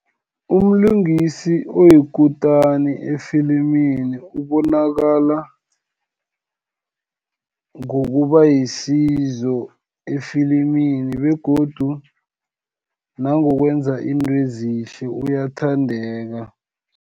Umlingisi oyikutani efilimini ubonakala, ngokuba yisizo efilimini, begodu nangokwenza intweezihle uyathandeka.